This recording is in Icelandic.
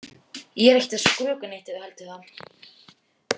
Ég er ekkert að skrökva neitt ef þú heldur það.